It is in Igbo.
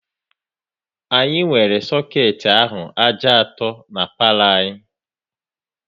Anyị nwere soket ahụ ájá atọ n'palo anyị